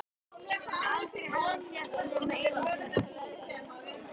Sem aldrei hafa sést nema einu sinni.